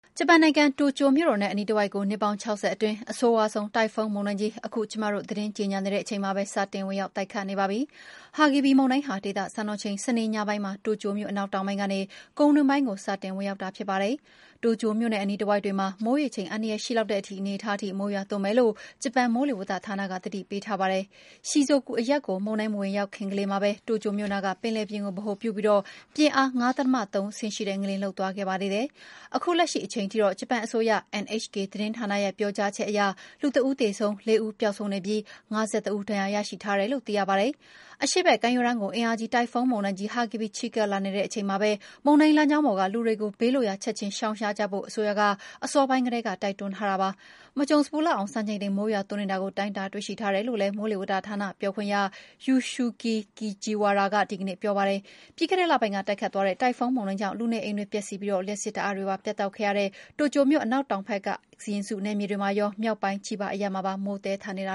ဂျပန်နိုင်ငံ တိုကျိုမြို့တော်နဲ့ အနီးတဝိုက်ကို နှစ်ပေါင်း ၆၀ အတွင်း အဆိုးရွားဆုံး တိုင်ဖုန်းမုန်တိုင်းကြီး စတင်ဝင်ရောက်ပါပြီ။ ဟာဂီဘိစ် (Hagibis) မုန်တိုင်းဟာ ဒေသစံတော်ချိန်၊ စနေညပိုင်းမှာ တိုကျိုမြို့ အနောက်တောင်ပိုင်းကနေ ကုန်းတွင်းပိုင်းကို စတင်ဝင်ရောက်တာ ဖြစ်ပါတယ်။ တိုကျိုမြို့နဲ့ အနီးတဝိုက်တွေမှာ မိုးရေချိန် အန္တရာယ်ရှိလောက်တဲ့ အနေအထားထိ မိုးရွာသွန်းမယ်လို့ ဂျပန် မိုးလေဝသဌာနက သတိပေးထားပါတယ်။ မုန်တိုင်းဟာ Shizuoke အရပ်ကို မဝင်ရောက်ခင်လေးမှာပဲ တိုကျိုမြို့နားက ပင်လယ်ပြင်ကို ဗဟိုပြုပြီး ပြင်းအား ၅.၃ ရှိတဲ့ ငလျင်လှုပ်သွားခဲ့ပါသေးတယ်။ ခုလက်ရှိအချိန်ထိတော့ ဂျပန်အစိုးရ NHK သတင်းဌာနရဲ့ ပြောကြားချက်အရ လူ ၁ ဦးသေဆုံး၊ ၄ ဦး ပျောက်ဆုံးနေပြီး ၅၁ ဦး ဒဏ်ရာရရှိထားတယ်လို့ သိရပါတယ်။ အရှေ့ဘက်ကမ်းရိုးတန်းကို အင်အားကြီး တိုင်ဖုန်းမုန်တိုင်း ဟာဂီဘိစ် ချဉ်းကပ်လာနေတာနဲ့အမျှ မုန်တိုင်းလမ်းကြောင်းပေါ်က လူတွေကို ဘေးလွတ်ရာ ချက်ချင်းရှောင်ရှားကြဖို့ အစိုးရက အစောပိုင်းကတည်းက တိုက်တွန်းလိုက်ပါတယ်။ မကြုံစဘူးလောက်အောင် စံချိန်တင် မိုးရွာသွန်းနေတာကို တိုင်းတာတွေ့ရှိထားတယ်လို့လည်း မိုးလေဝသဌာန ပြောခွင့်ရ Yasushi Kajiwara က ဒီကနေ့ ပြောပါတယ်။ ပြီးခဲ့တဲ့လပိုင်းက တိုက်ခတ်သွားတဲ့ တိုင်ဖုန်းမုန်တိုင်းကြောင့် လူနေအိမ်တွေ ပျက်စီးပြီး လျှပ်စစ်ဓာတ်အားတွေပါ ပြတ်တောက်ခဲ့ရတဲ့ တိုကျိုမြို့ အနောက်တောင်ဘက် Shizuoka and Mie စီရင်စုနယ်တွေမှာရော မြောက်ပိုင်းက Chiba အရပ်မှာပါ မိုးကြီးနေတ